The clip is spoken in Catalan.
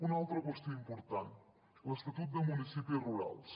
una altra qüestió important l’estatut de municipis rurals